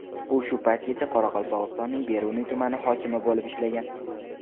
U shu paytgacha Qoraqalpog‘istonning Beruniy tumani hokimi bo‘lib ishlagan.